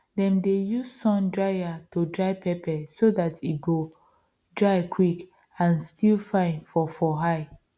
dem dey use sun dryer to dry pepper so dat e go dry quick and still fine for for eye